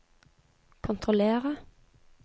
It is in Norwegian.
kontrollere